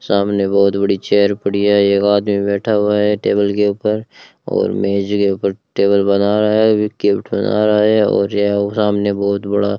सामने बहुत बड़ी चेयर पड़ी है एक आदमी बैठा हुआ है टेबल के ऊपर और मेज के ऊपर टेबल बना रहा है बिक के उठा रहा है और यह सामने बहुत बड़ा --